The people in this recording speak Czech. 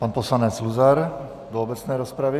Pan poslanec Luzar do obecné rozpravy.